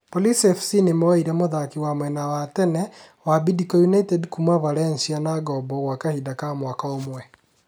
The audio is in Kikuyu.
Police FC nĩmoire mũthaki wa mwena wa tene wa Bidco United kuma Valencia na ngombo gwa kahinda ka mwaka ũmwe